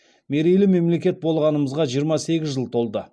мерейлі мемлекет болғанымызға жиырма сегіз жыл толды